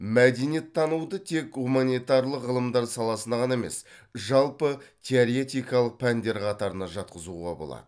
мәдениеттануды тек гуманитарлық ғылымдар саласына ғана емес жалпы теоретикалық пәндер қатарына жатқызуға болады